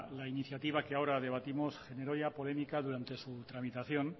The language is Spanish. la iniciativa que ahora debatimos generó ya polémica durante su tramitación